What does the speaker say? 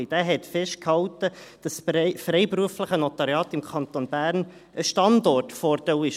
Dieser hat festgehalten, dass das freiberufliche Notariat im Kanton Bern ein Standortvorteil ist.